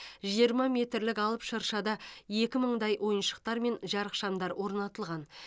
жиырма метрлік алып шыршада екі мыңдай ойыншықтар мен жарықшамдар орнатылған